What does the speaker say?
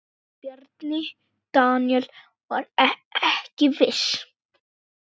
Bjarni Daníel var ekki viss.